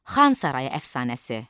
Xan sarayı əfsanəsi.